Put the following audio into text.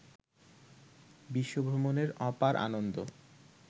বিশ্বভ্রমণের অপার আনন্দ